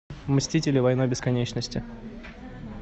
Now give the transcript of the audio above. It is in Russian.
мстители война бесконечности